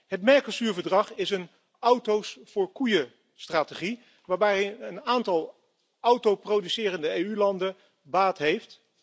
Het Mercosur verdrag is een auto's voor koeien strategie waarbij een aantal autoproducerende EU landen baat heeft.